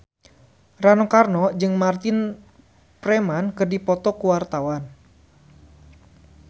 Rano Karno jeung Martin Freeman keur dipoto ku wartawan